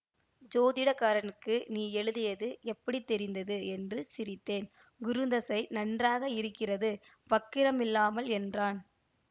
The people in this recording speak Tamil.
சோதிடக்காரனுக்கு நீ எழுதியது எப்படி தெரிந்தது என்று சிரித்தேன் குருந்தசை நன்றாக இருக்கிறது வக்கிரம் இல்லாமல் என்றான்